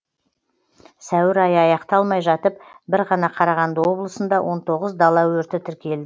сәуір айы аяқталмай жатып бір ғана қарағанды облысында он тоғыз дала өрті тіркел